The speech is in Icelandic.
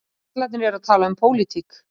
Karlarnir eru að tala um pólitík